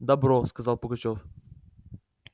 добро сказал пугачёв